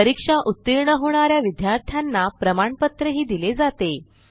परीक्षा उत्तीर्ण होणा या विद्यार्थ्यांना प्रमाणपत्रही दिले जाते